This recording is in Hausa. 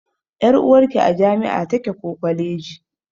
Ƴar'uwarki a jami'a take ko kwaleji.